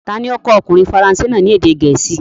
Ta ni ó kọ́ ọkùnrin faransé náà ní èdè gẹ̀ẹ́sì?